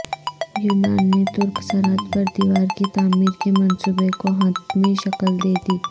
یونان نے ترک سرحد پر دیوار کی تعمیر کے منصوبے کو حتمی شکل دیدی